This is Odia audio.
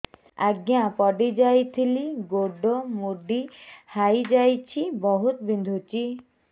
ଆଜ୍ଞା ପଡିଯାଇଥିଲି ଗୋଡ଼ ମୋଡ଼ି ହାଇଯାଇଛି ବହୁତ ବିନ୍ଧୁଛି